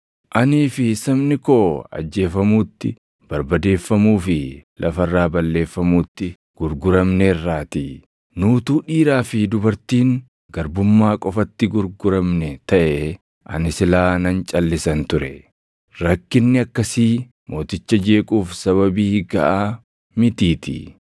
Anii fi sabni koo ajjeefamuutti, barbadeeffamuu fi lafa irraa balleeffamuutti gurguramneerraatii. Nu utuu dhiiraa fi dubartiin garbummaa qofatti gurguramne taʼee, ani silaa nan calʼisan ture; rakkinni akkasii mooticha jeequuf sababii gaʼaa mitiitii.”